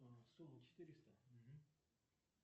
сумма четыреста